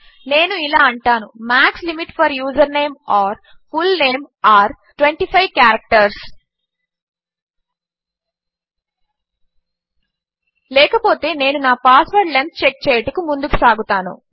నేను ఇలా అంటాను max limit for username or full name are 25 characters లేకపోతే నేను నా పాస్వర్ద్ లెంత్ చెక్ చేయుటకు ముందుకు సాగుతాను